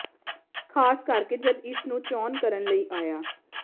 ਖ਼ਾਸ ਕਰਕੇ ਜਦ ਇਸ ਨੂੰ ਚੋਣ ਕਰਨ ਲਈ ਆਇਆ